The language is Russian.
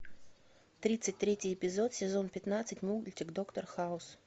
тридцать третий эпизод сезон пятнадцать мультик доктор хаус